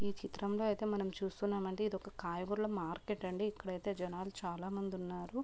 ఈ చిత్రంలో అయితే మనం చూస్తున్నాం అండి ఇది ఒక కాయగూరల మార్కెట్ అండి. ఇక్కడ అయితే జనాలు చాలామంది ఉన్నారు.